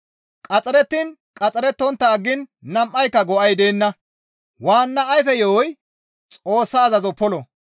Qaxxarettiin qaxxarettontta aggiin nam7aanka go7ay deenna; waanna ayfe yo7oy Xoossa azazo polo.